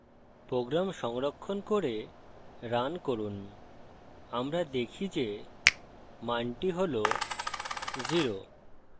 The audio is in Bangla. program সংরক্ষণ করে রান করুন আমরা দেখি যে মানটি হল 0